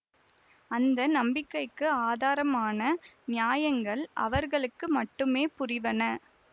அந்த நம்பிக்கைக்கு ஆதாரமான நியாயங்கள் அவர்களுக்கு மட்டுமே புரிவன